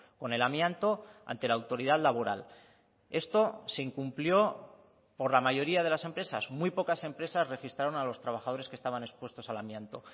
con el amianto ante la autoridad laboral esto se incumplió por la mayoría de las empresas muy pocas empresas registraron a los trabajadores que estaban expuestos al amianto